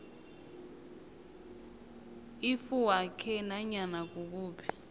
ifuywakhe nanyana kukuphi